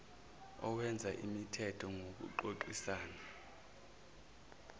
okwenza imithetho ngokuxoxisana